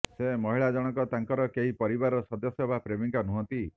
ସେ ମହିଳା ଜଣକ ତାଙ୍କର କେହି ପରିବାର ସଦସ୍ୟ ବା ପ୍ରେମିକା ନୁହନ୍ତି